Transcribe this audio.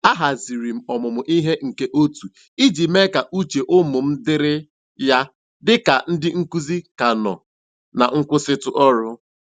A haziri m ọmụmụ ihe nke otu iji mee ka uche ụmụ m dịrị ya dị ka ndị nkụzi ka nọ na nkwụsịtụ ọrụ.